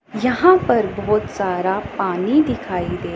यहां पर बहोत सारा पानी दिखाई दे--